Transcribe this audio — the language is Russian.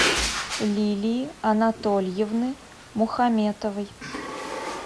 лилии анатольевны мухаметовой